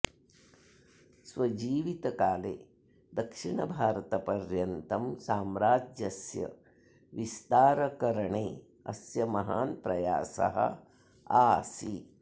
स्व जीवितकाले दक्षिणभारतपर्यन्तं साम्रज्यस्य विस्तारकरणे अस्य महान् प्रयासः आसीत्